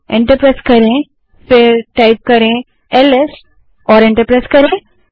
उसके बाद LS type करें और एंटर दबायें